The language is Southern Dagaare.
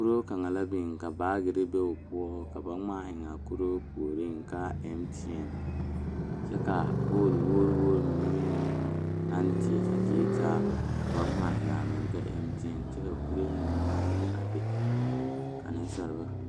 Dɔɔba ne pɔgeba la kaa dɔɔ kaŋa a are a su kpare puori ka ba MTN pelaa kaa Yiri a die dankyini are kaa MTN kolbaare a dɔgle tabol zu.